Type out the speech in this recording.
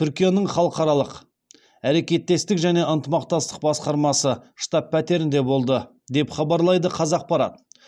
түркияның халықаралық әрекеттестік және ынтымақтастық басқармасы штаб пәтерінде болды деп хабарлайды қазақпарат